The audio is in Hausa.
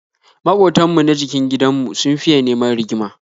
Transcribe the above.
Maƙotan mu na jikin gidan mu sun fiya neman rigima